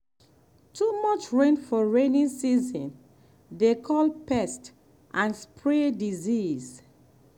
too much rain for rainy season dey call pest and spread disease.